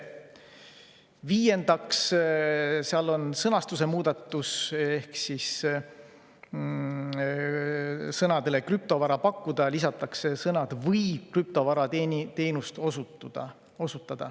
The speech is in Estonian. Viiendaks on sõnastuse muudatus: sõnadele "krüptovara pakkuda" lisatakse sõnad "või krüptovarateenust osutada".